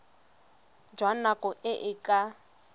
jwa nako e e ka